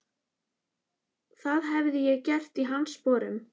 Það hefði ég gert í hans sporum.